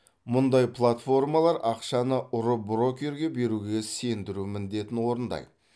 мұндай платформалар ақшаны ұры брокерге беруге сендіру міндетін орындайды